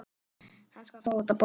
Hann skal fá þetta borgað!